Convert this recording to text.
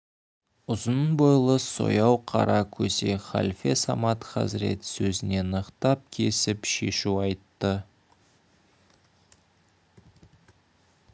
ұзын бойлы сояу қара көсе халфе самат хазірет сөзіне нықтап кесіп шешу айтты